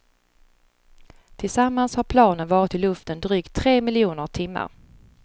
Tillsammans har planen varit i luften drygt tre miljoner timmar.